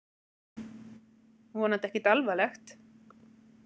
Vonandi ekkert alvarlegt!